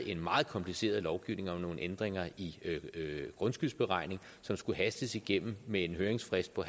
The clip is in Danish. en meget kompliceret lovgivning om nogle ændringer i grundskyldsberegningen som skulle hastes igennem med en høringsfrist på